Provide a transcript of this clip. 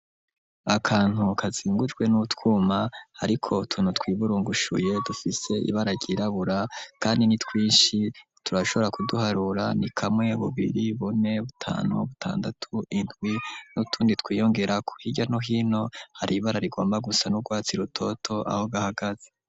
Akantu kazingujwe n'utwuma, ariko tunu twiburungushuye dufise ibara ryirabura, kandi ni twinshi turashobora kuduharura ni kamwe bubiri bone butanu bo butandatu indwi n'utundi twiyongera ku hirya no hino hari ibara rigomba gusa n'urwatsa i rutoto aho gahagaze.